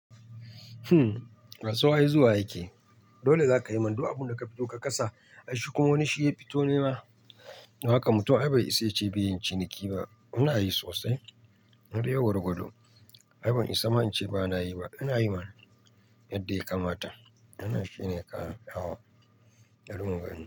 Kasuwa ai zuwa ake. Dole zakayi mana abunda ka fito ka kasa, ai shikuma wani shiya fito nema. Don haka mutum ai bai isa yace ba yayin ciniki ba. Inayi sosai, daidai gwargwado. Ai ban isa ma ince bana yi ba. Ina yi mana yadda ya kamata. Wannan shine kawai, bari mu gani.